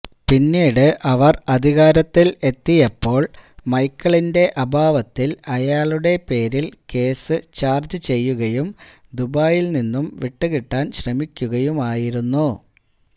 പിന്നീട് അവർ അധികാരത്തിൽ എത്തിയപ്പോൾ മൈക്കിളിന്റെ അഭാവത്തിൽ അയാളുടെ പേരിൽ കേസ് ചാർജ്ജ് ചെയ്യുകയും ദുബായിൽ നിന്നും വിട്ടുകിട്ടാൻ ശ്രമിക്കുകയുമായിരുന്നു